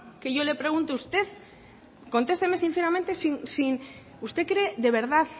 que yo le pregunto usted cónsteseme sinceramente sin usted cree de verdad